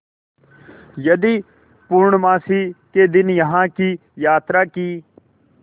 यदि पूर्णमासी के दिन यहाँ की यात्रा की